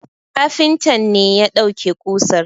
Kafintan ne ya dauke kusar